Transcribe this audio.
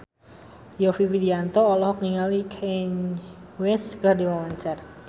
Yovie Widianto olohok ningali Kanye West keur diwawancara